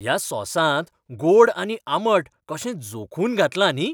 ह्या सॉसांत गोड आनी आंबट अशें जोखून घातलां न्ही.